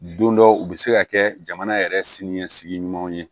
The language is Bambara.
Don dɔ u bɛ se ka kɛ jamana yɛrɛ siniɲɛsigi ɲumanw ye